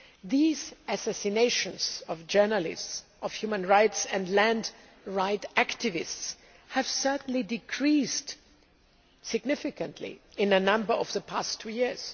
These assassinations of journalists of human rights and land rights activists have certainly decreased significantly in number in the past two years.